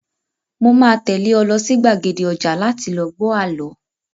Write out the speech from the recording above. Mo máa tẹ́lé ẹ lọ sí gbàgede ọjà láti lọ gbọ àlọ́